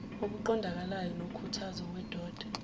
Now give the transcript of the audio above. oqondakalayo nokhuthazayo wedod